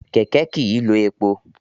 Kẹ̀kẹ́ kìí lo epo.